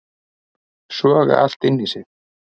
Soga allt inn í sig